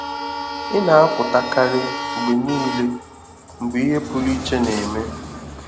ị na-apụta karị mgbe niile mgbe ihe pụrụ iche na-eme.